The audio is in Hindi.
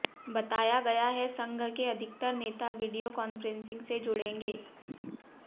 बताया गया है संघ के अधिकतर नेता वीडियो कॉन्फ्रेंसिंग से जुड़ेंगे